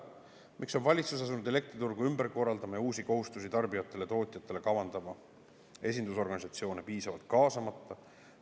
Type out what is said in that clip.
Miks on valitsus asunud elektriturgu ümber korraldama ja uusi kohustusi tarbijatele ja tootjatele kavandama esindusorganisatsioone piisavalt kaasamata?